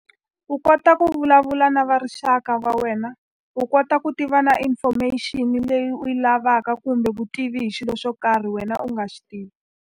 U kota ku vulavula na va rixaka va wena, u kota ku tiva na information-i leyi u yi lavaka kumbe vutivi hi xilo xo karhi wena u nga xi tivi.